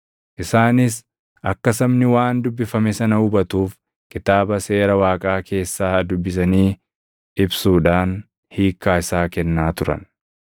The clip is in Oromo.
Isaanis akka sabni waan dubbifame sana hubatuuf Kitaaba Seera Waaqaa keessaa dubbisanii ibsuudhaan hiikkaa isaa kennaa turan.